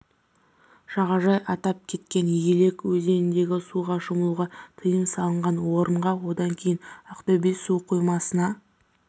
жағажай атап кеткен елек өзеніндегі суға шомылуға тыйм салынған орынға одан кейін ақтөбе су қоймасына